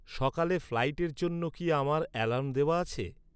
সকালে ফ্লাইটের জন্য কি আমার অ্যালার্ম দেওয়া আছে?